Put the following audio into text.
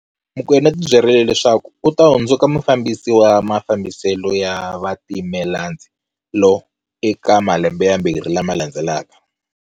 Mokoena u tibyerile leswaku u ta hundzuka mufambisi wa mafambiselo ya vatimelandzi lo eka malembe yambirhi lama landzelaka.